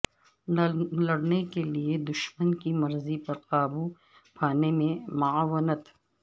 لڑنے کے لئے دشمن کی مرضی پر قابو پانے میں معاونت